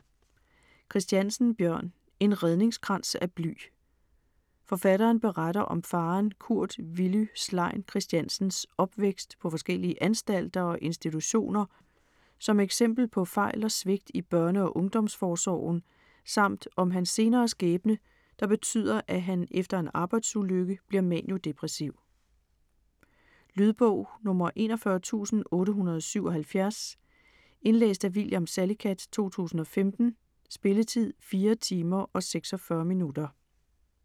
Christiansen, Bjørn: En redningskrans af bly Forfatteren beretter om faderen Kurt Villy Slein Christiansens opvækst på forskellige anstalter og institutioner som eksempel på fejl og svigt i børne- og ungdomsforsorgen, samt om hans senere skæbne, der betyder at han efter en arbejdsulykke bliver maniodepressiv. Lydbog 41877 Indlæst af William Salicath, 2015. Spilletid: 4 timer, 46 minutter.